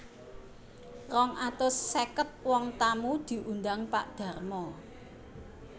Rong atus sèket wong tamu diundang Pak Darmo